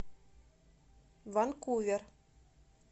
ванкувер